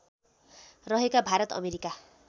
रहेका भारत अमेरिका